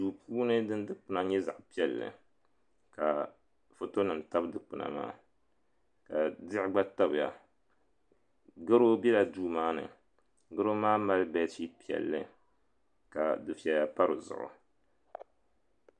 Duu puuni din dukpuna nyɛ zaɣa piɛlli ka fotonima tabi dukpina maa ka diɣi gba tabiya goro bela duumaani goro maa mali beesiti piɛlli ka dufeya pa di zuɣu